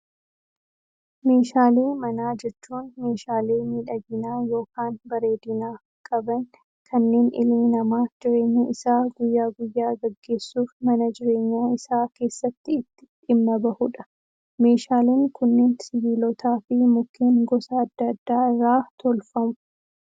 Meeshaalee manaa jechuun meeshaalee miidhaginaa yookaan bareedinaa qaban kanneen ilmi namaa jireenya isaa guyyaa guyyaa gaggeessuuf mana jireenyaa isaa keessatti itti dhimma bahudha. Meeshaaleen kunneen sibiilotaa fi mukkeen gosa addaa addaa irraa tolfamu.